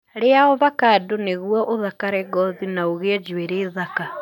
Ria ovacado nĩgũo ũthakare ngothi na ũgĩe njuirĩ thaka.